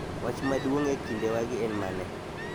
wach maduong ' e kindewagi en mane?